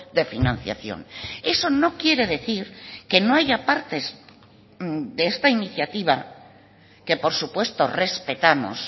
de financiación eso no quiere decir que no haya partes de esta iniciativa que por supuesto respetamos